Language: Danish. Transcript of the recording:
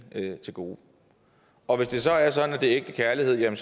til gode og hvis det så er sådan at det er ægte kærlighed er